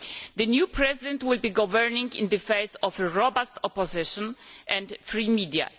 The new President will be governing in the face of robust opposition and free media.